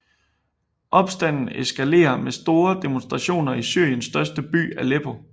Opstanden eskalerer med store demonstrationer i Syriens største by Aleppo